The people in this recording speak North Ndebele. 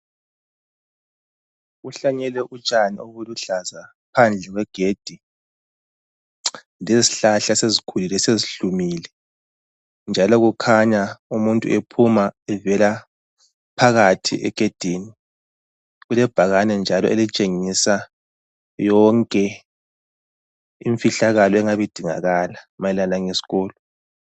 Kuhlanyelwe utshani obuluhlaza phandle kwegedi. Lezihlahla esezikhulile sezihlumile njalo kukhanya umuntu ephuma evela phakathi egedini. Kulebhakane njalo elitshengisa yonke imfihlakalo engabe idingakala mayelana ngesikolo.